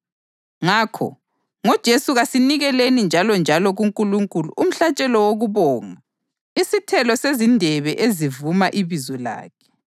Ngakho, ngoJesu kasinikeleni njalonjalo kuNkulunkulu umhlatshelo wokubonga, isithelo sezindebe ezivuma ibizo lakhe.